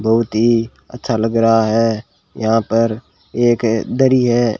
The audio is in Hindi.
बहोत ही अच्छा लग रहा है यहां पर एक दरी हैं।